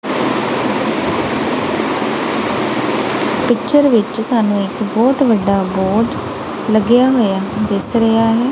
Picture ਵਿੱਚ ਸਾਨੂੰ ਇੱਕ ਬਹੁਤ ਵੱਡਾ ਬੋਰਡ ਲੱਗਿਆ ਹੋਇਆ ਦਿਸ ਰਿਹਾ ਹੈ।